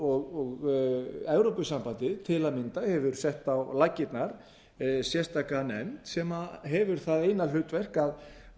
og evrópusambandið til að mynda hefur sett á laggirnar sérstaka nefnd sem hefur það eina hlutverk að